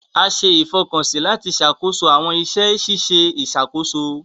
A ṣe ìfọkànsí lati ṣàkóso awọn iṣẹ ṣiṣe ìṣàkóso.